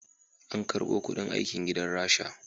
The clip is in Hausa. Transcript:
An karbo kuɗin aikin gidan rasha